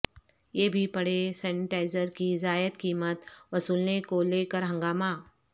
یہ بھی پڑھیں سینیٹائزر کی زائد قیمت وصولنے کو لے کر ہنگامہ